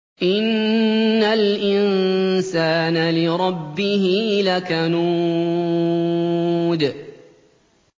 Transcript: إِنَّ الْإِنسَانَ لِرَبِّهِ لَكَنُودٌ